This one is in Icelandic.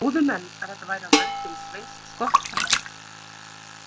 Trúðu menn að þetta væri af völdum Sveins skotta.